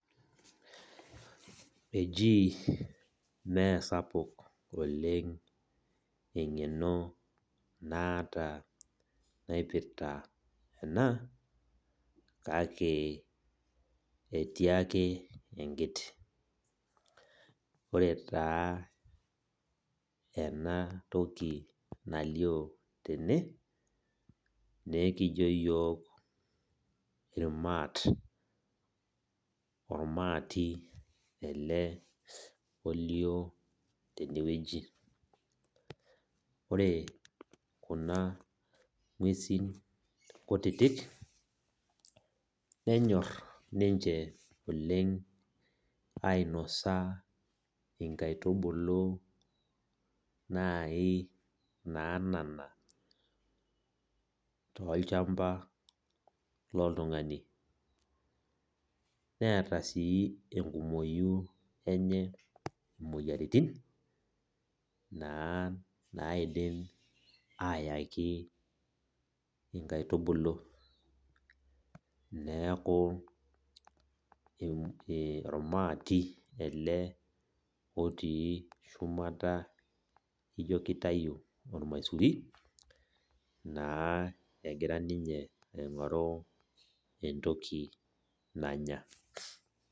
Ejii meesapuk eng'eno naata naipirta ena, kake etii ake enkiti. Ore taa enatoki nalio tene, nekijo yiok irmaat. Ormaati ele olio tenewueji. Ore kuna ng'uesin kutitik, nenyor ninche oleng ainosa inkaitubulu nai naanana tolchamba loltung'ani. Neeta si enkumoyu enye imoyiaritin, naa naidim ayaki inkaitubulu. Neeku ormaati ele otii shumata ijo kitayu ormaisuri, naa egira ninye aing'oru entoki nanya.